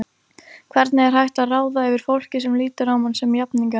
Hvernig er hægt að ráða yfir fólki sem lítur á mann sem jafningja?